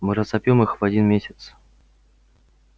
мы разобьём их в один месяц